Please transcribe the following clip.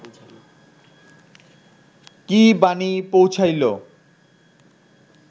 কী বাণী পৌঁছাইল